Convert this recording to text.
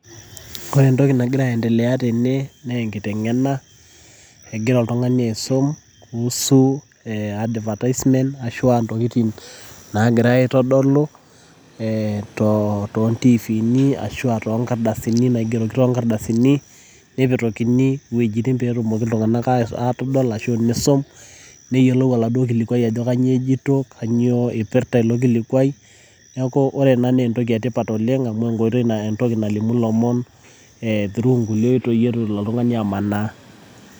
Ore entoki nagira aendelea tene, naa enkiteng'ena egira oltung'ani aisum kuhusu advertisement ,ashua intokiting nagirai aitodolu eh tontivini ashua tonkardasini naigero tonkardasini, nepetokini iwuejiting' petumoki iltung'anak atadol ashu isum, neyiolou aladuo kilikwai ajo kanyioo ejito, kanyioo ipirta ilo kilikwai. Neeku ore ena na entoki etipat oleng' amu enkoitoi entoki nalimu ilomon eh through inkulie oitoi itu elo oltung'ani amanaa.